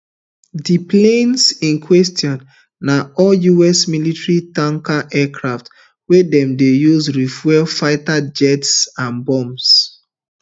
di planes in question na all us military tanker aircraft wey dem dey use refuel fighter jets and bombers